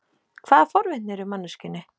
Hvaða forvitni er í manneskjunni?